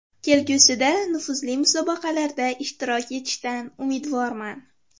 Kelgusida nufuzli musobaqalarda ishtirok etishdan umidvorman.